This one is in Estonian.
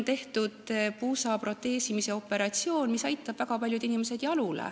Puusa proteesimise operatsioon aitab väga paljud inimesed jalule.